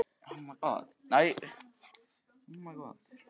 Baróninn féllst á þetta með semingi.